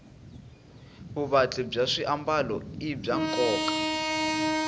vuvatli bya swiambalo i bya nkoka